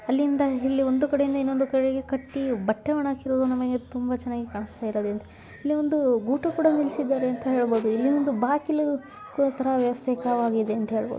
ಅಲ್ಲಿಂದಿಂದ ಇಲ್ಲಿ ಒಂದು ಕಡೆಯಿಂದ ಇನ್ನೊಂದುಕಡೆಗೆ ಕಟ್ಟಿ ಬಟ್ಟೆ ವಣ ಹಾಕಿರೋದನ್ನ ನನಗೆ ತುಂಬಾ ಚೆನ್ನಾಗಿ ಕಾನ್ಸ್ಟಯಿರೋದಂತ. ಅಲ್ಲಿ ಒಂದು ಬೂಟು ಕೂಡಾ ನಿಲ್ಸಿದ್ದರೆ ಅಂತ ಹೇಳಬಹುದು. ಇಲ್ಲಿ ಒಂದು ಬಾಕಿಲು ಕೋಲ್ ತರಾ ವ್ಯವಸ್ಥೆಕವಾಗಿದೆ ಅಂತ ಹೇಳಬಹುದು.